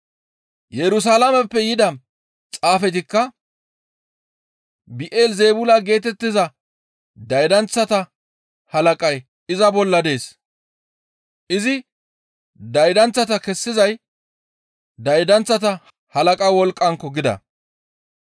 Yerusalaameppe yida xaafetikka, «Bi7elizeebula geetettiza daydanththata halaqay iza bolla dees. Izi daydanththata kessizay daydanththata halaqa wolqqankko!» gida.